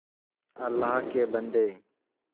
अल्लाह के बन्दे